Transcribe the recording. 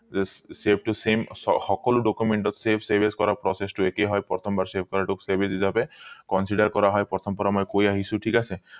save টো same সকলো document ত save save as কৰা process টো একেই হয় প্ৰথম বাৰ save কৰা টো save as হিচাপে consider কৰা হয় প্ৰথম পৰা মই কৈ আহিছো ঠিক আছে